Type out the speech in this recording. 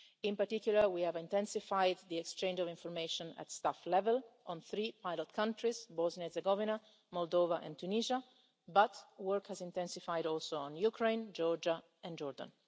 In particular, we have intensified the exchange of information at staff level on three pilot countries Bosnia and Herzegovina, Moldova and Tunisia, but work has also intensified on Ukraine, Georgia and Jordan.